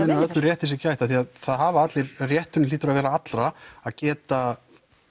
með að öllum rétti sé gætt það hafa allir rétturinn hlýtur að vera allra að geta